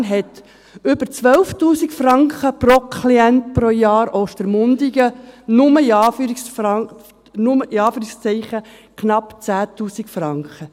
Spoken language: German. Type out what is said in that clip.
Bern hat über 12 000 Franken pro Klient pro Jahr, Ostermundigen nur, in Anführungszeichen, knapp 10 000 Franken.